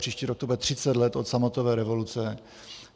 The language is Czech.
Příští rok to bude 30 let od sametové revoluce.